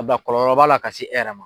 kɔlɔlɔ b'a la ka se e yɛrɛ ma.